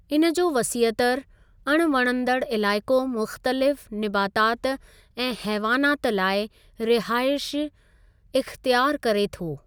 इन जो वसीअतर, अण वणंदड़ इलाइक़ो मुख़्तलिफ़ निबातात ऐं हैवानात लाइ रिहाइश इख़्तियारु करे थो।